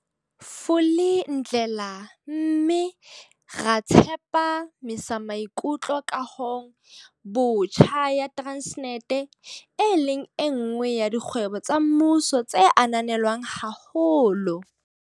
Vulindlela mme ra tsepa misamaikutlo kahong botjha ya Transnet, e leng enngwe ya dikgwebo tsa mmuso tse ananelwang haholo.